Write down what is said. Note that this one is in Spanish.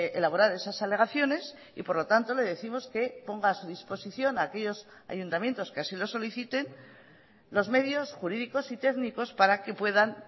elaborar esas alegaciones y por lo tanto le décimos que ponga a su disposición a aquellos ayuntamientos que así lo soliciten los medios jurídicos y técnicos para que puedan